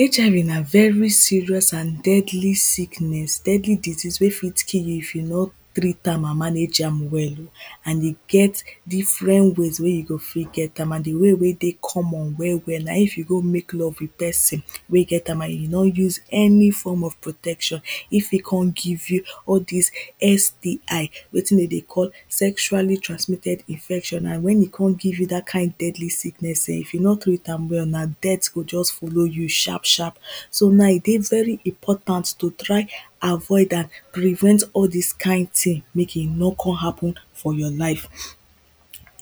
HIV na very serious and deadly sickness, deadly disease wey fit kill you, if you no treat am and manage am well o. and e get different ways wey you go fit get am, and the way wey dey common well well na if you go mek love with person wey get am, and e no use, any form of protection, if e con give you all dis STI, wetin de dey call, sexually transmitted infections, and wen e con give you dat kind deadly sickness ehn, if you no treat am well, na death go just follow you sharp sharp. so my dey very important to try avoid am, prevent all dis kind ting mek e no con happen for your life.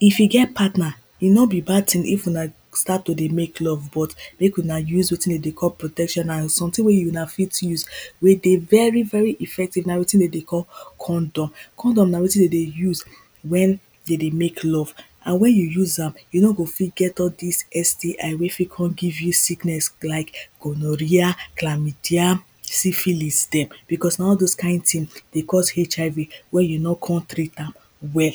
if you get patner, e no be bad ting if una start to dey mek love but, mek una use wetin den dey call protection, na someting wey una fit use, wey dey very very effective, na wetin den dey call condom. condom na wetin den dey use wen de dey mek love, and wen you use am, you no go fit get all dis STI wey fit con give you sickness like: gonorrhea, clamydia, syphilis dem, because na all dose kind ting dey cause HIV wen you no con treat am well.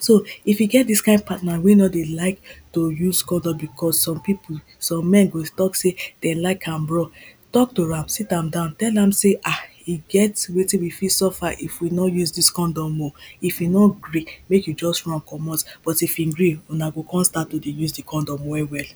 so, if you get dis kind partner wey no dey like to use condom, because some pipo, some men go tok sey dem like am raw, tok to am, sit am down, tell am sey ah, e get wetin we fit suffer, if we no use dis condom o, if e no gree mek you just run comot, but if hin gree, una go con start to dey use the condom well well.